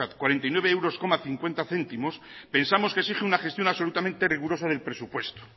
cuarenta y nueve euros y cincuenta céntimos pensamos que exige una gestión absolutamente rigurosa del presupuesto